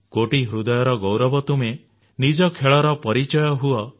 କୋଟି ହୃଦୟର ଗୌରବ ତୁମେ ନିଜ ଖେଳର ପରିଚୟ ହୁଏ